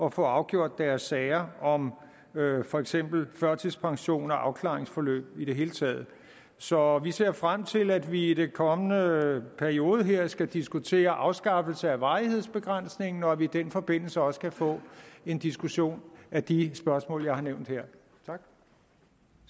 at få afgjort deres sager om for eksempel førtidspension og afklaringsforløb i det hele taget så vi ser frem til at vi i den kommende periode her skal diskutere afskaffelse af varighedsbegrænsningen og at vi i den forbindelse også kan få en diskussion af de spørgsmål jeg har nævnt her